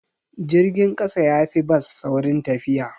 Jirgin ƙasa yafi bas saurin tafiya.